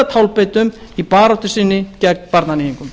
tálbeitum í baráttu sinni gegn barnaníðingum